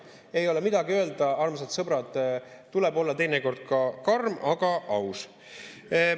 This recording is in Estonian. Ei ole midagi öelda, armsad sõbrad, tuleb olla teinekord ka karm, aga aus.